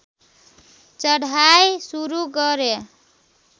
चढाइ सुरु गरे